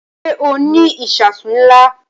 Ṣé o ní àwọn ìṣasùn ńlá?